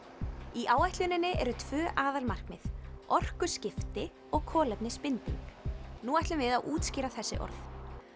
í áætluninni eru tvö aðalmarkmið orkuskipti og kolefnisbinding nú ætlum við að útskýra þessi orð